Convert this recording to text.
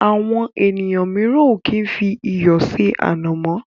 Àwọn míràn o kí ń fí iyọ̀ se ànàmọ́.